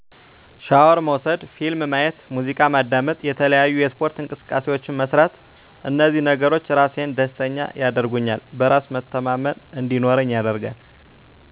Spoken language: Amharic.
ሻወር መውሰድ ፊልም ማየት ሙዚቃ ማዳመጥ የተለያዪ የስፓርት እንቅስቃሴዎችን መስራት እንዚህ ነገሮች ራሴን ደስተኛ ያደርጉኛል በራስ መተማመን እንዲኖረኝ ያደርጋል